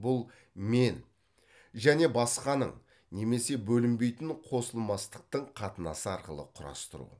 бұл мен және басқаның немесе бөлінбейтін қосылмастықтың қатынасы арқылы құрастыру